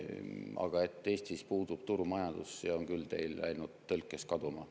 Aga et Eestis puudub turumajandus – see on teil küll läinud tõlkes kaduma.